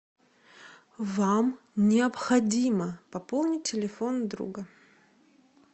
вам необходимо пополнить телефон друга